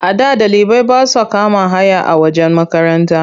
A da ɗalibai ba sa kama haya a wajen makaranta.